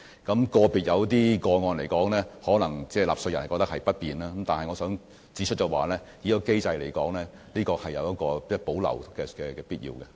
在有些個別個案中，納稅人可能覺得不便，但我想指出，這個機制有保留的必要。